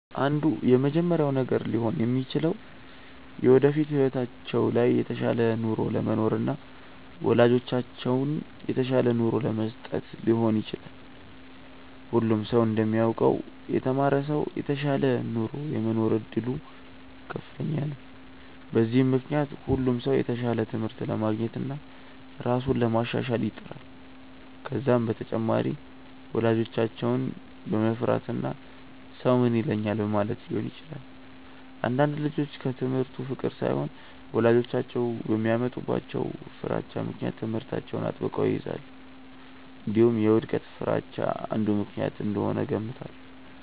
አንዱ የመጀመሪያው ነገር ሊሆን የሚችለው የወደፊት ህይወታቸው ላይ የተሻለ ኑሮ ለመኖርና ወላጆቻቸውን የተሻለ ኑሮ ለመስጠት ሊሆን ይችላል። ሁሉም ሰው እንደሚያውቀው የተማረ ሰው የተሻለ ኑሮ የመኖር እድሉ ከፍተኛ ነው። በዚህም ምክንያት ሁሉም ሰው የተሻለ ትምህርት ለማግኘትና ራሱን ለማሻሻል ይጥራል። ከዛም በተጨማሪ ወላጆቻቸውን በመፍራትና ሰው ምን ይለኛል በማለትም ሊሆን ይችላል። አንዳንድ ልጆች ከትምህርቱ ፍቅር ሳይሆን ወላጆቻቸው በሚያመጡባቸው ፍራቻ ምክንያት ትምህርታቸውን አጥብቀው ይይዛሉ። እንዲሁም የውድቀት ፍርሃቻ አንዱ ምክንያት እንደሆነ እገምታለሁ።